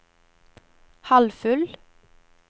halvfull